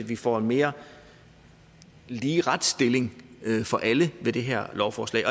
vi får en mere lige retsstilling for alle med det her lovforslag